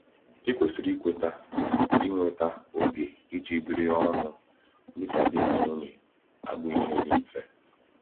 Ikwesịrị ikweta na inweta oge iji biri ọnụ dịka di na nwunye abụghị ihe dị mfe.